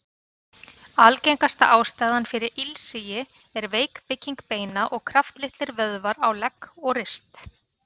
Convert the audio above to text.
Algengasta ástæðan fyrir ilsigi er veik bygging beina og kraftlitlir vöðvar á legg og rist.